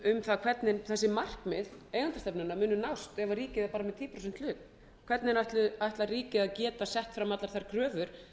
það hvernig þessi markmið eigendastefnunnar muni nást ef ríkið er með tíu prósenta hlut hvernig ætlar ríkið að geta sett fram allar þær kröfur